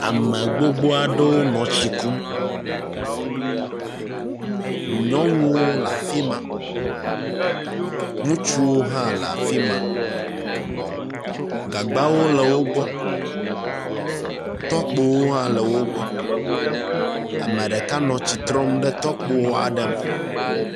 Ame gbogbo aɖewo nɔ tsi kum. Nyɔnuwo le afi ma. Ŋutsuwo hã le afi ma. Gagbawo le wo gbɔ. Tɔkpowo hã le wo gbɔ. Ame ɖeka hã nɔ tsi trɔm ɖe tɔkpo aɖe me.